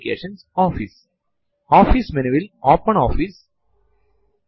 യഥാർത്ഥ ജീവിതത്തിൽ ഫൈൽ എന്നത് നമ്മുടെ ഡോക്യുമെന്റ്സും പേപ്പറും സൂക്ഷിക്കാൻ പറ്റുന്ന ഇടത്തെയാണ്